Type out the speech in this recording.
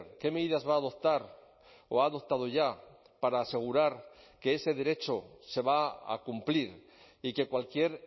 qué medidas va a adoptar o ha adoptado ya para asegurar que ese derecho se va a cumplir y que cualquier